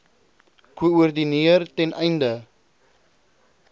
koördineer ten einde